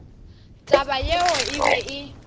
taba yeo e be e